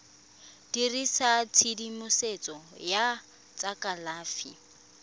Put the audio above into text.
dirisa tshedimosetso ya tsa kalafi